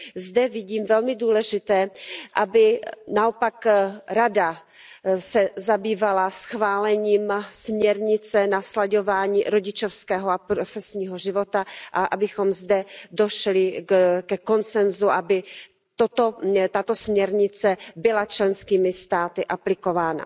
Zde vidím jako velmi důležité, aby se naopak Rada zabývala schválením směrnice na slaďování rodičovského a profesního života a abychom zde došli ke konsenzu, aby tato směrnice byla členskými státy aplikována.